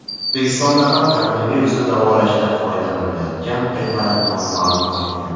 O‘zbekistonda ham koronavirusni davolashda foydalanilayotgan preparat nomi ma’lum qilingan .